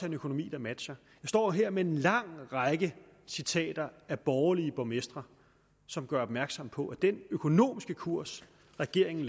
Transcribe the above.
en økonomi der matcher jeg står her med en lang række citater af borgerlige borgmestre som gør opmærksom på at den økonomiske kurs regeringen